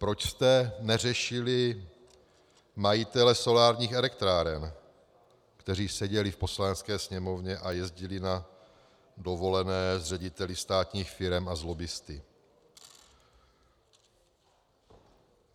Proč jste neřešili majitele solárních elektráren, kteří seděli v Poslanecké sněmovně a jezdili na dovolené s řediteli státních firem a s lobbisty?